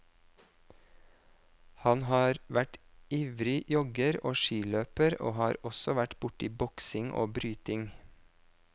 Han har vært ivrig jogger og skiløper og har også vært borti boksing og bryting.